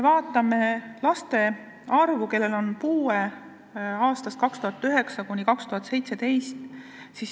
Vaatame puudega laste arvu aastatel 2009–2017.